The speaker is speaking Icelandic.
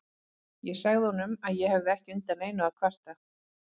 Ég sagði honum að ég hefði ekki undan neinu að kvarta.